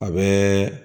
A bɛ